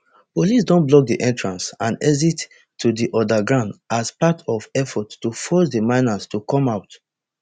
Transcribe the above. police don block di entrance and exit to di underground as part of effort to force di miners to come out